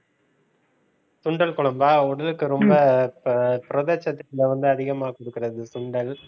சுண்டல் குழம்பா? உடலுக்கு ரொம்ப அஹ் புரதச் சத்துக்களை ரொம்ப அதிகமா கொடுக்கிறது சுண்டல்